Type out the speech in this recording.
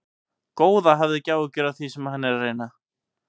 Góða, hafðu ekki áhyggjur af því sem hann er að reyna.